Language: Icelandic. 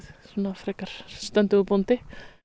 nokkuð stöndugur bóndi